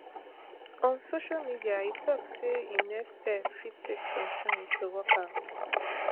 on social media e tok say im next step fit take some time to work out